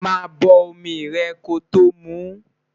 má bó omí rè kòtò mú